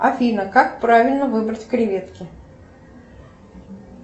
афина как правильно выбрать креветки